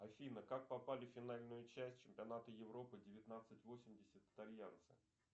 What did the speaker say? афина как попали в финальную часть чемпионата европы девятнадцать восемьдесят итальянцы